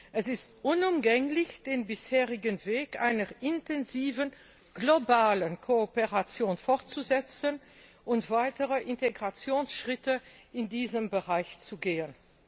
Es ist unumgänglich, den bisherigen Weg einer intensiven globalen Kooperation fortzusetzen und weitere Integrationsschritte in diesem Bereich zu gehen.